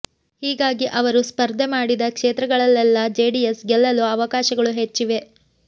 ಹೀಗಾಗಿ ಅವರು ಸ್ಪರ್ಧೆ ಮಾಡಿದ ಕ್ಷೇತ್ರಗಳಲ್ಲೆಲ್ಲಾ ಜೆಡಿಎಸ್ ಗೆಲ್ಲಲು ಅವಕಾಶಗಳು ಹೆಚ್ಚಿವೆ